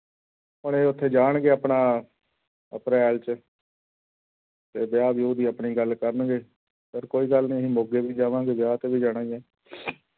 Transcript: ਹੁਣ ਇਹ ਉੱਥੇ ਜਾਣਗੇ ਆਪਣਾ ਅਪ੍ਰੈਲ 'ਚ ਤੇ ਵਿਆਹ ਵਿਊਹ ਦੀ ਆਪਣੀ ਗੱਲ ਕਰਨਗੇ, ਪਰ ਕੋਈ ਗੱਲ ਨੀ ਅਸੀਂ ਮੋਗੇ ਵੀ ਜਾਵਾਂਗੇ ਵਿਆਹ ਤੇ ਵੀ ਜਾਣਾ ਹੀ ਆਂ